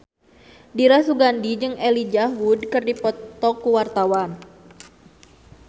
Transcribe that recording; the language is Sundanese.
Dira Sugandi jeung Elijah Wood keur dipoto ku wartawan